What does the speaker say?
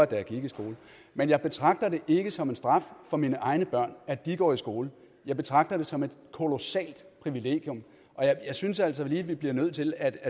da jeg gik i skole men jeg betragter det ikke som en straf for mine egne børn at de går i skole jeg betragter det som et kolossalt privilegium og jeg synes altså lige at vi bliver nødt til at